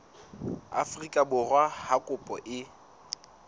afrika borwa ha kopo e